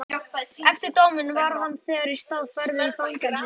Eftir dóminn var hann þegar í stað færður í fangelsi.